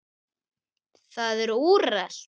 Það er úrelt.